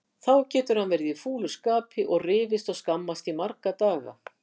Þá getur hann verið í fúlu skapi og rifist og skammast í marga daga.